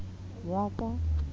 ya ka ha e le